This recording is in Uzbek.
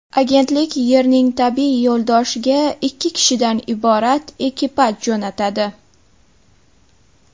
Agentlik Yerning tabiiy yo‘ldoshiga ikki kishidan iborat ekipaj jo‘natadi.